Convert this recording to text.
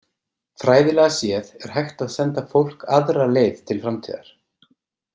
Fræðilega séð er hægt að senda fólk aðra leið til framtíðar.